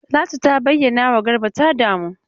Talatu ta bayyanawa Garba ta damu.